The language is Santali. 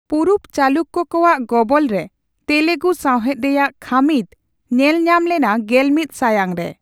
ᱯᱩᱨᱩᱵ ᱪᱟᱞᱩᱠᱠᱚ ᱠᱚᱣᱟᱜ ᱜᱚᱵᱚᱞᱨᱮ ᱛᱮᱞᱮᱜᱩ ᱥᱟᱹᱣᱦᱮᱫ ᱨᱮᱭᱟᱜ ᱠᱷᱟᱹᱢᱤᱫ ᱧᱮᱞ ᱧᱟᱢ ᱞᱮᱱᱟ ᱜᱮᱞᱢᱤᱛ ᱥᱟᱭᱟᱝᱨᱮ ᱾